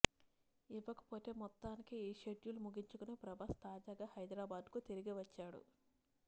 ఇకపోతే మొత్తానికి ఈ షెడ్యూల్ ముగించుకొని ప్రభాస్ తాజాగా హైదరాబాద్కు తిరిగివచ్చాడు